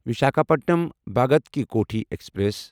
Visakhapatnam Bhagat Ki Kothi express